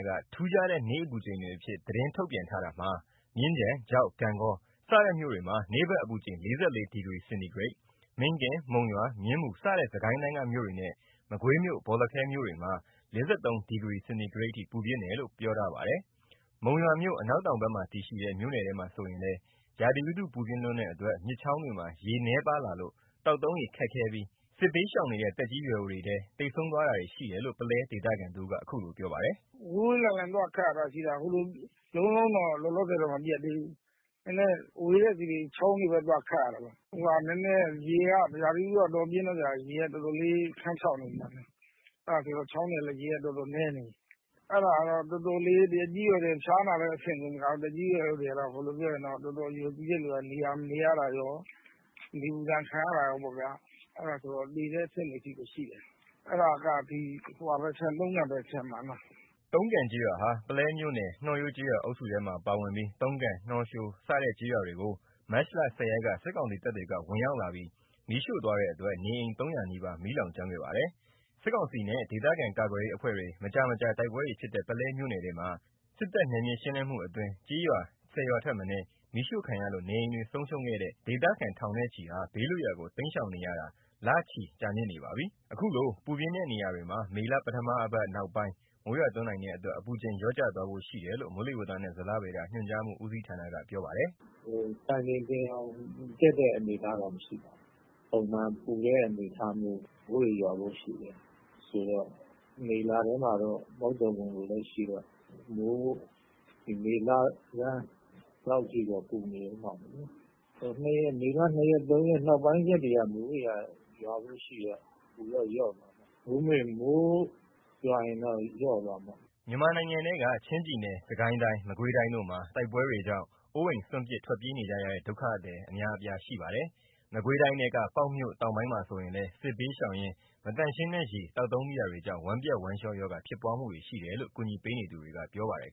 က ထူးခြားတဲ့ နေ့အပူချိန်တွေအဖြစ် သတင်းထုတ်ပြန်ထားတာမှာ မြင်းခြံ၊ ချောက်၊ ဂန့်ဂေါ စတဲ့မြို့တွေမှာ နေ့ဘက်အပူချိန် ၄၄ ဒီဂရီစင်တီဂရိတ်၊ မင်းကင်း၊ မုံရွာ၊ မြင်းမူစတဲ့ စစ်ကိုင်းတိုင်းက မြို့တွေနဲ့ မကွေးမြို့၊ ဘော်လခဲမြို့တွေမှာ ၄၃ ဒီဂရီစင်တီဂရိတ်အထိ ပူပြင်းတယ်လို့ ပြောထားပါတယ်။ မုံရွာမြို့ အနောက်တောင်ဘက်မှာတည်ရှိတဲ့ မြို့နယ်ထဲမှာဆိုရင်လည်း ရာသီဥတု ပူပြင်းလွန်းတဲ့အတွက် မြစ်ချောင်းတွေမှာ ရေနည်းပါးလာလို့ သောက်သုံးရေ ခက်ခဲပြီး စစ်ဘေးရှောင်နေတဲ့ သက်ကြီးရွယ်အိုတွေထဲ သေဆုံးတာတွေရှိတယ်လို့ ပုလဲဒေသခံတဦးက အခုလိုပြောပါတယ်။ “ဝေးဝေးလံလံသွားခပ်ရတာရှိတာ ဟိုလိုလုံးလုံးတော့ လောလောဆယ်မပြတ်သေးဘူး။ နည်းနည်းဝေးတဲ့ဆီ ချောင်းတွေဘက် သွားခပ်ရတာ။ နည်းနည်းရေက ရာသီဥတုက တော်တော်ပြင်းတဲ့အတွက်ကြောင့် ရေက တော်တော်လေး ခမ်းခြောက်နေတယ်။ အဲ့ဒါဆိုတော့ ချောင်းတွေကလည်း ရေက တော်တော်နည်းနေပြီ။ အဲ့ဒါနဲ့ တော်တော်လေး သက်ကြီးရွယ်အိုတွေက ဖျားနာတဲ့အဆင့်ကို မဟုတ်တော့ဘူး။ တော်တော်အရွယ်ကြီးတဲ့သူက နေရတာကော နေပူဒဏ်ခံရတာကော အဲ့ဒါက သေတဲ့အဆင့်တွေထိကိုရှိတယ်။ အဲ့ဒါက တုံးကန်ဘက် ခြမ်းမှာ။” တုံးကန်ကျေးရွာဟာ ပုလဲမြို့နယ် နှောရိုးကျေးရွာအုပ်စုထဲမှာ ပါဝင်ပြီး တုံးကန် နှောရိုး စတဲ့ ကျေးရွာတွေကို မတ်လ ၁၀ ရက်က စစ်ကောင်စီတပ်တွေက ဝင်ရောက်လာပြီး မီးရှို့သွားတဲ့အတွက် နေအိမ် ၃၀၀ နီးပါး မီးလောင်ကျွမ်းခဲ့ပါတယ်။ စစ်ကောင်စီနဲ့ ဒေသခံကာကွယ်ရေးအဖွဲ့တွေ မကြာမကြာ တိုက်ပွဲတွေဖြစ်တဲ့ ပုလဲမြိ့နယ်ထဲမှာ စစ်တပ်နယ်မြေရှင်းလင်းမှုအတွင်း ကျေးရွာ ၁၀ ရွာထက်မနည်း မီးရှို့ခံရလို့ နေအိမ်တွေ ဆုံးရှုံးခဲ့တဲ့ ဒေသခံထောင်နဲ့ချီဟာ ဘေးလွတ်ရာကို တိမ်းရှောင်နေရတာ လချီကြာမြင့်နေပါပြီ။ အခုလို ပူပြင်းတဲ့ နေရာတွေမှာ မေလ ပထမအပတ် နောက်ပိုင်း မိုးရွာသွန်းနိုင်တဲ့အတွက် အပူချိန်လျော့ကျသွားဖို့ရှိတယ်လို့ မိုးလေဝသနဲ့ ဇလဗေဒညွှန်ကြားမှု ဦးစီးဌာနက ပြောပါတယ်။ “စံချိန်တင်အောင် အပူဖြတ်တဲ့အနေအထားမျိုးတော့မရှိပါဘူး။ ပုံမှန်ပူတဲ့အနေအထားမျိုးပဲ။ မိုးတွေရွာဖို့ရှိတယ်ဆိုတော့ မေလထဲမှာတော့ မုတ်သုန်ဝင်ဖို့လည်းရှိတော့ မေလဆန်းလောက်ထိတော့ ပူနေအုံးမှာပေါ့။ မေလ ၂ ရက် ၃ ရက်နောကိုင်း ရွာဖို့ရှိတော့ အပူတော့ လျော့သွားမှာပေါ့။ မိုးရွာရင်တော့ လျော့သွားမှာပေါ့။” မြန်မာနိုင်ငံထဲက ချင်းပြည်နယ် စစ်ကိုင်းတိုင်း မကွေးတိုင်းတို့မှာ တိုက်ပွဲတွေကြောင့် အိုးအိမ်စွန့်ပစ် ထွက်ပြေးနေကြရတဲ့ ဒုက္ခသည်အများအပြားရှိပါတယ်။ မကွေးတိုင်းထဲက ပေါက်မြို့တောင်ပိုင်းမှာဆိုလည်း စစ်ဘေးရှောင်ရင်း မသန့်ရှင်းတဲ့ရေသောက်သုံးမိတာတွေကြောင့် ဝမ်းပျက် ဝမ်းလျောရောဂါ ဖြစ်ပွားမှုတွေ ရှိတယ်လို့ ကူညီပေးနေသူတွေက ပြောပါတယ်